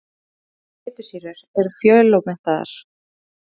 Báðar þessar fitusýrur eru fjölómettaðar.